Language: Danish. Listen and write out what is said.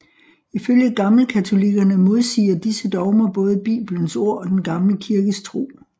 Ifølge gammelkatolikkerne modsiger disse dogmer både Bibelens ord og den gamle kirkes tro